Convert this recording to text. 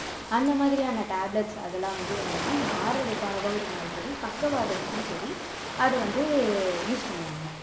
அந்த மாதிரியான tablets அதெல்லாம் வந்து என்னென்னா மாரடைப்பா இருந்தாலும் சரி பக்கவாதத்துக்கும் சரி அது வந்து use பண்ணுவாங்க